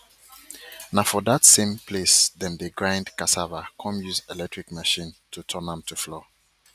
na for dat same place dem dey grind cassava come use electric machine to turn am to flour